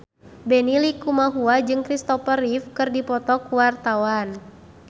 Benny Likumahua jeung Christopher Reeve keur dipoto ku wartawan